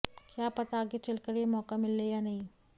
क्या पता आगे चलकर यह मौका मिले या नहीं